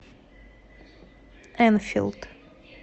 энфилд